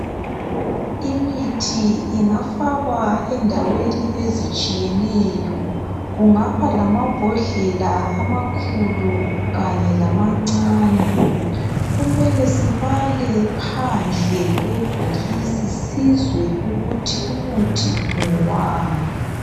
Imithi ingafakwa endaweni ezitshiyeneyo kungaba lamambhodlela amakhulu kanye lamancane kumele sibale phandle kwebhokisi sizwe ukuthi umuthi ngowani.